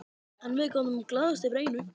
En við gátum glaðst yfir einu.